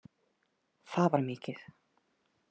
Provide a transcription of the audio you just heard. Það var mikið.